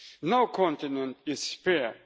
girls. No continent is